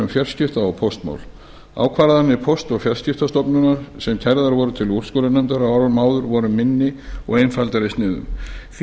fjarskipta og póstmál ákvarðanir póst og fjarskiptastofnunar sem kærðar voru til úrskurðarnefndar á árum áður voru minni og einfaldari í sniðum því